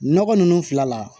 Nɔgɔ nunnu fila la